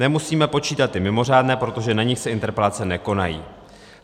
Nemusíme počítat ty mimořádné, protože na nich se interpelace nekonají.